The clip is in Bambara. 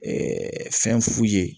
fɛn f'u ye